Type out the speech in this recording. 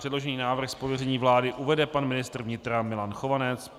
Předložený návrh z pověření vlády uvede pan ministr vnitra Milan Chovanec.